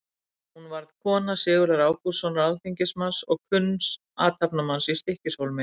Hún varð kona Sigurðar Ágústssonar alþingismanns og kunns athafnamanns í Stykkishólmi.